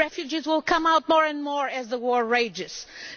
Refugees will come out more and more as the war rages on.